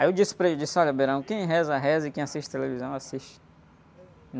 Aí eu disse para ele, disse, olha, quem reza, reza e quem assiste televisão, assiste.